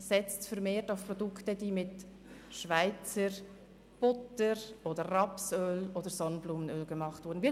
Setzen Sie vermehrt auf Produkte, die mit Schweizer Butter, Rapsöl oder Sonnenblumenöl hergestellt wurden.